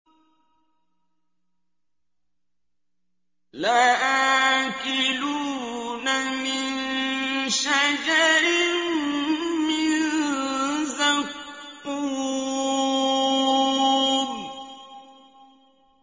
لَآكِلُونَ مِن شَجَرٍ مِّن زَقُّومٍ